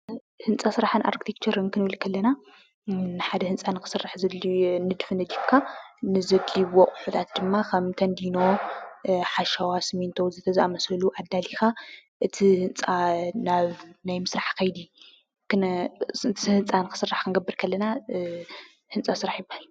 ህንፃ ስራሕን ኣርክቴክቸርን ክንብል ከለና ሓደ ህንፃ ንክስራሕ ዘድልዩ ንድፊ ነዲፍካ ዘድልይዎ ኣቁሑታት ድማ ከም ተንዲኖ፣ ሓሸዋ ፣ ስሚንቶ ዝኣምሳሰሉ ኣዳሊካ እቲ ህንፃ ክስራሕ ክንገበር ከለና ህንፃ ስራሕ ይብሃል፡፡